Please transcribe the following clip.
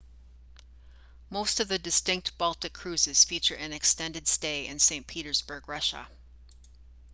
most of the distinct baltic cruises feature an extended stay in st petersburg russia